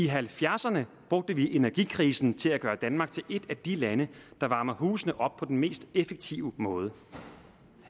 halvfjerdserne brugte vi energikrisen til at gøre danmark til et af de lande der varmer husene op på den mest effektive måde